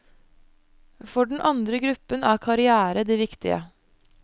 For den andre gruppen er karrière det viktige.